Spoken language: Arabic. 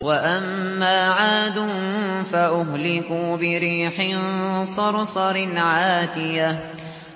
وَأَمَّا عَادٌ فَأُهْلِكُوا بِرِيحٍ صَرْصَرٍ عَاتِيَةٍ